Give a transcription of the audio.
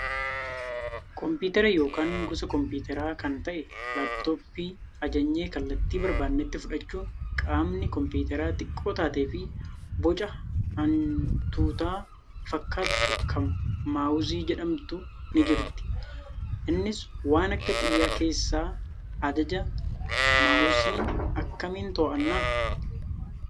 Kompiiatara yookaan gosa kompiitaraa kan ta'e laappitooppii ajajnee kallattii barbaanetti fudhachuun qaamni kompiitaraa xiqqoo taatee fi boca hantuutaa fakkaattu kam maawusii jedhamtu ni jirti. Innis waan akka xiyyaa keessaa ajaja. Maawussii akkamiin to'annaa?